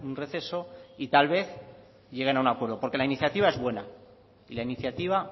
receso y tal vez lleguen a un acuerdo porque la iniciativa es buena y la iniciativa